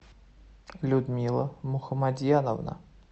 людмила мухамадьяновна